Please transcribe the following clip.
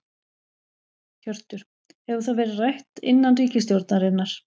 Hjörtur: Hefur það verið rætt innan ríkisstjórnarinnar?